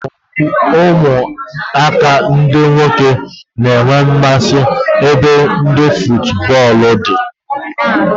Ụmụaka ndị nwoke nwere mmasị n'ebe futubọọlụ dị